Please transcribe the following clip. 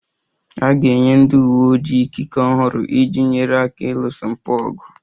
A ga-enye ndị uwe ojii ikike ọhụrụ iji nyere aka ịlụso mpụ ọgụ